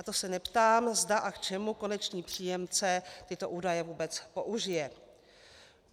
A to se neptám, zda a k čemu konečný příjemce tyto údaje vůbec použije.